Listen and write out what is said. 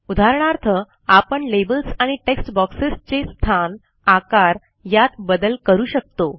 उदाहरणार्थ आपण लेबल्स आणि टेक्स्ट बॉक्सेसचे स्थान आकार यात बदल करू शकतो